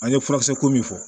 An ye furakisɛ ko min fɔ